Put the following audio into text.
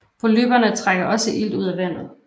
Polypperne trækker også ilt ud af vandet